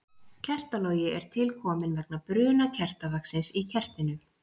kertalogi er til kominn vegna bruna kertavaxins í kertinu